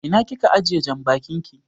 Ina kika ajiye janbakin ki?